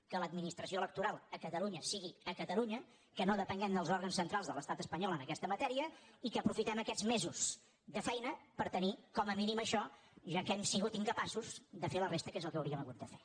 que l’adminis·tració electoral a catalunya sigui a catalunya que no depenguem dels òrgans centrals de l’estat espanyol en aquesta matèria i que aprofitem aquests mesos de feina per tenir com a mínim això ja que hem sigut incapa·ços de fer la resta que és el que hauríem hagut de fer